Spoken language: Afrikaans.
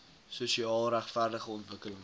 sosiaal regverdige ontwikkelings